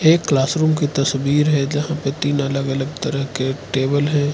एक classroom की तस्वीर है जहां पे तीन अलग अलग तरह के टेबल है।